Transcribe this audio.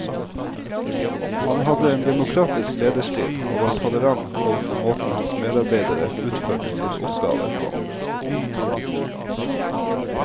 Han hadde en demokratisk lederstil og var tolerant overfor måten hans medarbeidere utførte sine oppgaver på.